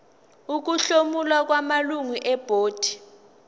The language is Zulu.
ukuhlomula kwamalungu ebhodi